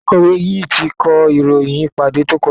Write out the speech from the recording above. Akọ̀wé yìí ti kọ ìròyìn ìpàdé tó kọjá.